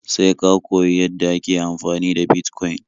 Sai ka koyi yadda ake amfani da Bitcoin